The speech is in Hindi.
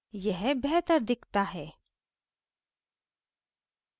यह बेहतर दिखता है